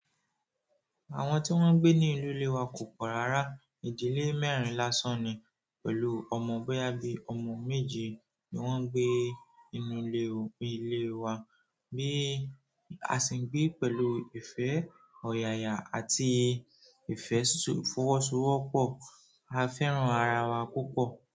Àwọn tí wọ́n ń gbé ní ìnu ilé wa kò pọ̀ rárá. Ìdílé mẹ́rin lásán ni pẹ̀lú ọmọ boya bí ọmọ méje ni wọ́n ń gbé inú ilé wa bí a ṣe ń gbé pẹ̀lú ìfẹ́ ọ̀yàyà àti ìfẹ́ fọwọsowọpọ. A fẹ́ràn ara wa púpọ̀.